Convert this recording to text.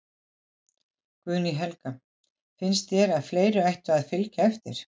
Guðný Helga: Finnst þér að fleiri ættu að, að fylgja eftir?